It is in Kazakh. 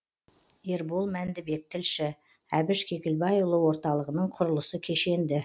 ербол мәндібек тілші әбіш кекілбайұлы орталығының құрылысы кешенді